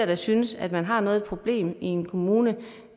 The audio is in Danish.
da synes at man har noget af et problem i en kommune